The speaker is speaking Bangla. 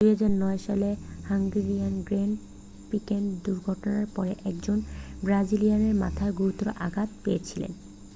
2009 সালে হাঙ্গেরিয়ান গ্র্যান্ড প্রিক্সে দুর্ঘটনার পরে একজন ব্রাজিলিয়ান মাথায় গুরুতর আঘাত পেয়েছিলেন